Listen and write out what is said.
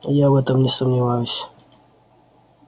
я в этом не сомневаюсь